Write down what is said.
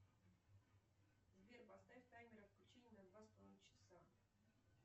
сбер поставь таймер отключения на два с половиной часа